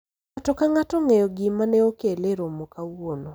ng'ato ka ng'ato ong'eyo gima ne okele e romo kawuono